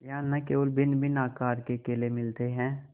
यहाँ न केवल भिन्नभिन्न आकार के केले मिलते हैं